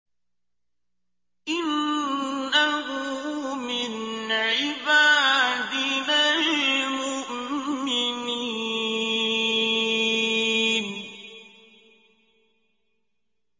إِنَّهُ مِنْ عِبَادِنَا الْمُؤْمِنِينَ